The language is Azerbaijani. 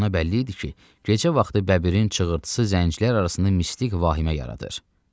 Ona bəlli idi ki, gecə vaxtı bəbirin çığırtısı zəncilər arasında mistik vahimə yaradır.